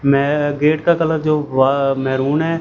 में गेट का कलर जो व मैरून है।